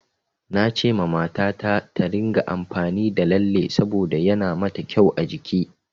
Nacewa mata ta, ta ringa amfani da lalle saboda yana ma ta kyau a jiki.